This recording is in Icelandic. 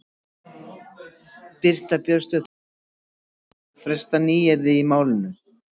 Birta Björnsdóttir: Hvernig finnst þér ganga að festa þessi nýyrði í málinu?